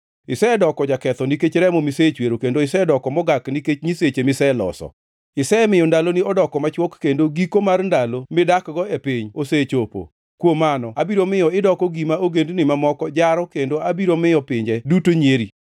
isedoko jaketho nikech remo misechwero, kendo isedoko mogak nikech nyiseche miseloso. Isemiyo ndaloni odoko machwok, kendo giko mar ndalo midakgo e piny osechopo. Kuom mano, abiro miyo idoko gima ogendini mamoko jaro kendo abiro miyo pinje duto nyieri.